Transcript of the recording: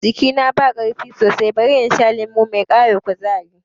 Jikina ba ƙarfi sosai, bari in sha lemo mai ƙara kuzari